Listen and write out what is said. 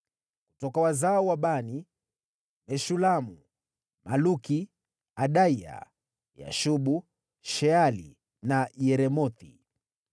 Kutoka wazao wa Bani: Meshulamu, Maluki, Adaya, Yashubu, Sheali na Yeremothi.